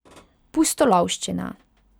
Pustolovščina.